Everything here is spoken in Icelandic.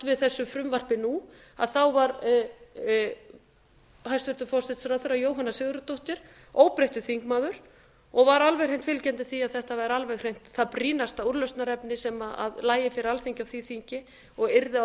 við þessu frumvarpi nú að þá var hæstvirtur forsætisráðherra jóhanna sigurðardóttir óbreyttur þingmaður og var alveg hreint fylgjandi því að þetta væri alveg hreint það brýnasta úrlausnarefni sem lægi fyrir alþingi á því þingi og yrði